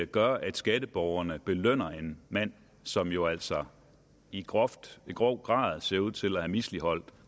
gør at skatteborgerne belønner en mand som jo altså i grov grov grad ser ud til at have misligholdt